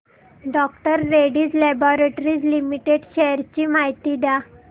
डॉ Reddy's laboratories limited shares ची माहिती द्या